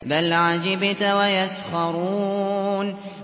بَلْ عَجِبْتَ وَيَسْخَرُونَ